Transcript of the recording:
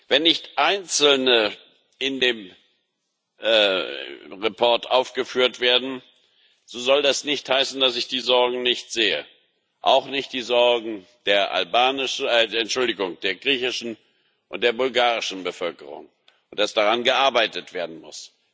Wenn nicht einzelne in dem Bericht aufgeführt werden, so soll das nicht heißen, dass ich die Sorgen nicht sehe auch nicht die Sorgen der griechischen und der bulgarischen Bevölkerung, und dass daran gearbeitet werden muss.